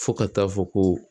Fo ka taa fɔ ko